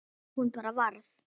Hún bara varð.